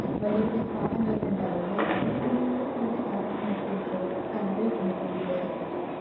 വല്യ വല്യ പാലങ്ങളൊക്കെ ഇണ്ടാവൂലെ അതില് കൊണ്ട് പോയി അവരുടെ Car ഒക്കെ നിർത്തി വെച്ചത് Car പിന്നെ Two wheelers ഒക്കെ